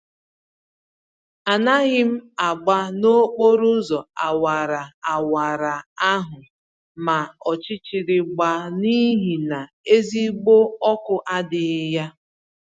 Anaghịm agba nokporo ụzọ awara awara ahụ ma ọchịchịrị gbaa, n'ihi na ezigbo ọkụ adịghị ya